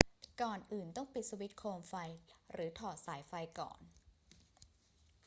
ก่อนอื่น ต้องปิดสวิตช์โคมไฟหรือถอดสายไฟก่อน